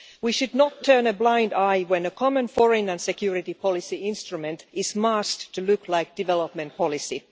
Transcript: We should not turn a blind eye when a Common Foreign and Security Policy instrument is masked to look like development policy.